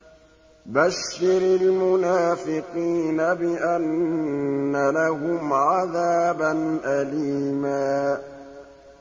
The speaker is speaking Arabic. بَشِّرِ الْمُنَافِقِينَ بِأَنَّ لَهُمْ عَذَابًا أَلِيمًا